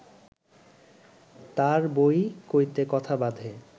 তাঁর বই কইতে কথা বাধে